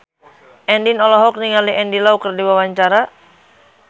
Andien olohok ningali Andy Lau keur diwawancara